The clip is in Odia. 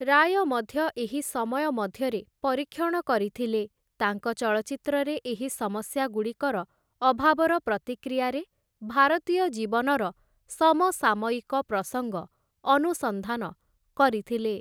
ରାୟ ମଧ୍ୟ ଏହି ସମୟ ମଧ୍ୟରେ ପରୀକ୍ଷଣ କରିଥିଲେ, ତାଙ୍କ ଚଳଚ୍ଚିତ୍ରରେ ଏହି ସମସ୍ୟାଗୁଡ଼ିକର ଅଭାବର ପ୍ରତିକ୍ରିୟାରେ, ଭାରତୀୟ ଜୀବନର ସମସାମୟିକ ପ୍ରସଙ୍ଗ ଅନୁସନ୍ଧାନ କରିଥିଲେ ।